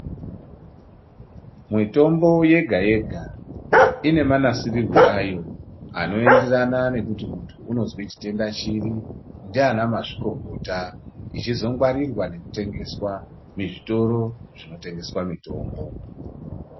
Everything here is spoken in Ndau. Mitombo yega yega ine manasirirwo ayo anoenderana nekuti muntu unozwe chiini , chitenda chipi ndiana mazvikokota ichizongwarirwa nekutengeswa muzvitoro zvinotengeswa mitombo.